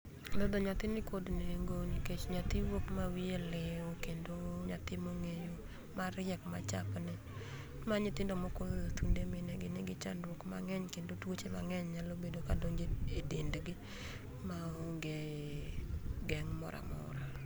Dhodho nyathi nikod nengo nikech nyathi wuok ma wiye liu kendo nyathi mong'eyo mariek machapni. ma nyithindo moko thunde minegi nigi chandruok mang'eny kendo tuoche mang'eny nyalo bedo kadonje e dendgi maonge geng' moramora.